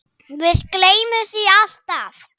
Við gleymum því alltaf